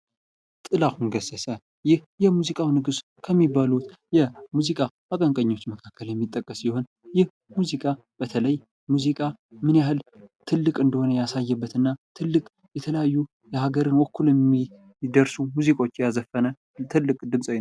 ጥላሁን ገሰሰ ይህ የሙዚቃው ንጉስ ከሚባሉት የሙዚቃ አቀንቃኞች መካከል የሚጠቀስ ሲሆን ይህ ሙዚቃ በተለይ ሙዚቃ ምን ያህል ትልቅ እንደሆነ ያሳየበትና ትልቅ የተለያዩ ሀገርን ወክሎ የሚደርሱ ሙዚቃዎችን የዘፈነ ትልቅ ድምጻዊ ነው።